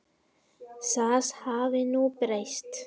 Það hafi nú breyst.